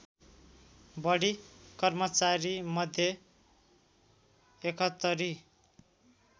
बढी कर्मचारीमध्ये ७१